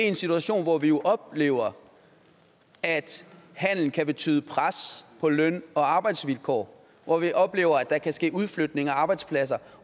en situation hvor vi jo oplever at handel kan betyde pres på løn og arbejdsvilkår hvor vi oplever at der kan ske udflytning af arbejdspladser